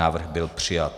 Návrh byl přijat.